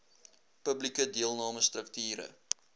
publieke deelname strukture